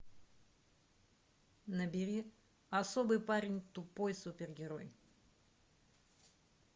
набери особый парень тупой супергерой